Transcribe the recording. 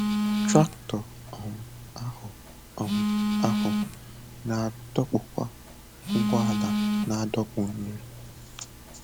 Traktọ um ahụ um ahụ na-adọkpụkwa ụgbọala na-adọkpụ nri.